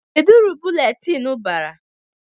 Kedụ uru buletin bara?